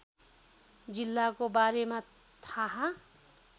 जिल्लाको बारेमा थाहा